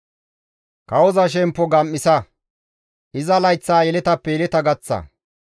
Kawoza shemppo gam7isa; iza layththaa yeletappe yeleta gaththa.